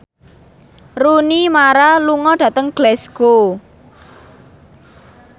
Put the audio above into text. Rooney Mara lunga dhateng Glasgow